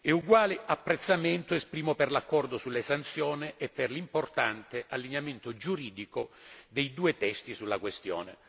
Uguale apprezzamento esprimo per l'accordo sull'esenzione e per l'importante allineamento giuridico dei due testi sulla questione.